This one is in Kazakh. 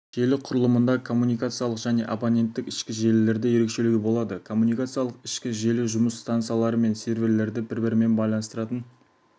желі құрылымында коммуникациялық және абоненттік ішкі желілерді ерекшелеуге болады коммуникациялық ішкі желі жұмыс стансалары мен серверлерді бір-бірімен байланыстыратын